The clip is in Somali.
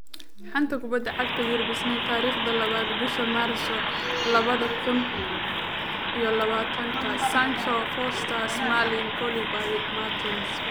Xanta Kubadda Cagta Yurub Isniin tariqda labada bishaa maarso labada kuun iyo labataanka: Sancho, Foster, Smalling, Koulibaly, Mertens